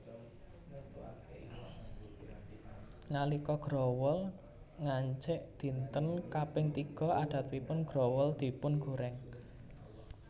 Nalika growol ngancik dinten kaping tiga adatipun growol dipungorèng